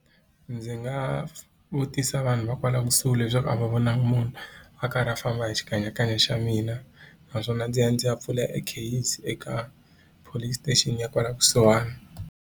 Ndzi nga vutisa vanhu va kwala kusuhi leswaku a va vonangi munhu a karhi a famba hi xikanyakanya xa mina naswona ndzi ya ndzi ya pfula e kheyisi eka police station ya kwala kusuhani.